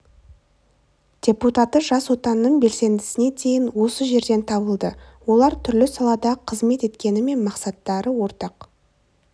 депутаты жас отанның белсендісіне дейін осы жерден табылды олар түрлі салада қызмет еткенімен мақсаттары ортақ